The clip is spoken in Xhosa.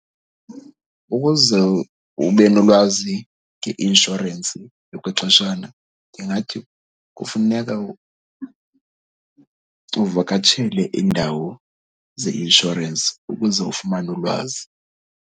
Ukuze ube nolwazi ngeinshorensi yokwexeshana ndingathi kufuneka uvakatshele indawo zeinshorensi ukuze ufumane ulwazi.